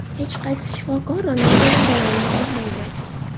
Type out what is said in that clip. Hech qaysi shifokor Ronalduni davolay olmaydi”.